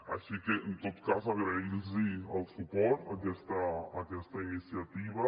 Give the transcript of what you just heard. així que en tot cas agrair los el suport a aquesta iniciativa